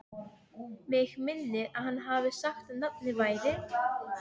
Mig minnir að hann hafi sagt að nafnið væri